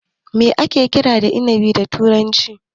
Me ake kira da inabi da turanci?